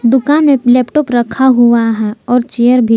दुकान में लैपटॉप रखा हुआ है और चेयर भी--